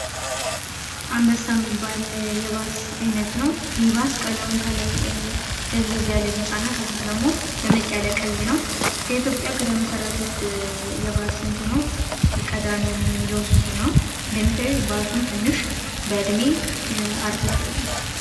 አንበሳ የሚባል የባስ አይነት ነው ይህ ባስ ከላይ ደብዘዝ ያለ ቢጫ እና ከታች ደግሞ ቀይ ነው። ከኢትዮጵያ ከተመሰረቱት የባስ እንትኖች ቀዳሚውን የሚይዘው እሱ ነው። እንደምታዩት ባሱም ትንሽ በእድሜ እርጀት ያለ ነው።